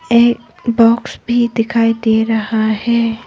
एक बॉक्स भी दिखाई दे रहा है।